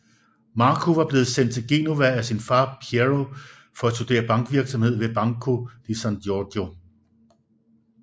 Marco var blevet sendt til Genova af sin far Piero for at studere bankvirksomhed ved Banco di San Giorgio